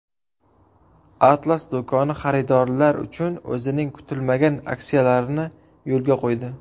Atlas do‘koni xaridorlar uchun o‘zining kutilmagan aksiyalarini yo‘lga qo‘ydi.